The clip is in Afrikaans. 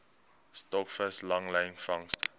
stokvis langlyn vangste